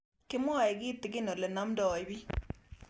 Kimwae kitig'in ole namdoi piik